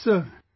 Yes sir